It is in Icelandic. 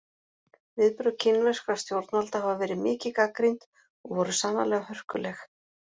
Viðbrögð kínverskra stjórnvalda hafa verið mikið gagnrýnd og voru sannarlega hörkuleg.